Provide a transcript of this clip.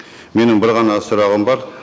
менің бір ғана сұрағым бар